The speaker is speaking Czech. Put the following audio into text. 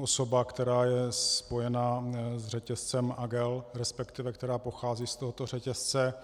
osoba, která je spojena s řetězcem AGEL, respektive která pochází z tohoto řetězce.